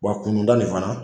Wa kunnunda ni fana